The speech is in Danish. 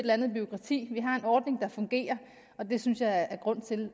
andet bureaukrati vi har en ordning der fungerer og det synes jeg er grund til